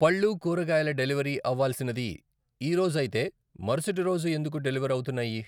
పళ్ళు, కూరగాయల డెలివరీ అవ్వాల్సినది ఈరోజు అయితే మరుసటి రోజు ఎందుకు డెలివర్ అవుతున్నాయి ?